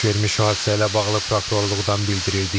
Baş vermiş hadisə ilə bağlı prokurorluqdan bildirildi ki,